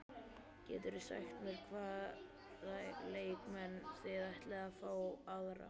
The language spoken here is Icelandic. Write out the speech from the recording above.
Geturðu sagt mér hvaða leikmenn þið ætlið að fá aðra?